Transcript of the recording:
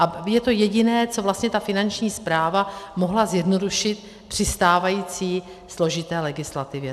A je to jediné, co vlastně ta Finanční správa mohla zjednodušit při stávající složité legislativě.